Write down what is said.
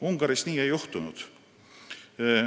Ungaris nii ei juhtunud.